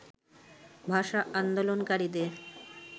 ভাষা আন্দোলনকারীদের